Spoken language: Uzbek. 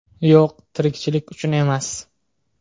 Yo‘q, tirikchilik uchun emas.